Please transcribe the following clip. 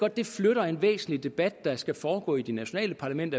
at det flytter en væsentlig debat der skal foregå i det nationale parlament